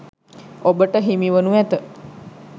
ඔබට හිමිවනු ඇත.